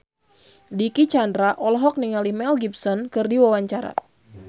Dicky Chandra olohok ningali Mel Gibson keur diwawancara